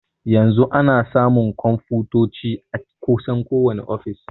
Yanzu ana samun konfutoci a kusan kowani ofis.